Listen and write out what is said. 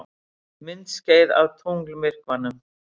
Myndskeið af tunglmyrkvanum